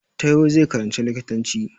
Taiwo zai karanci likitanci